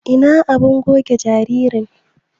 Ina abun goge jinjirin?